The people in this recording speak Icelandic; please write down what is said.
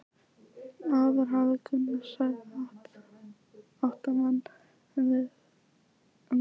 Áður hafði Gunnar særða átta menn en vegið þá tvo.